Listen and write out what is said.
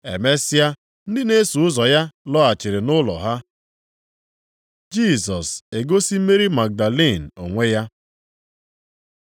Emesịa ndị na-eso ụzọ ya laghachiri nʼụlọ ha. Jisọs egosi Meri Magdalin onwe ya